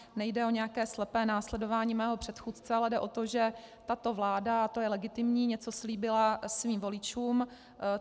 Nejde o nějaké slepé následování mého předchůdce, ale jde o to, že tato vláda, a to je legitimní, něco slíbila svým voličům.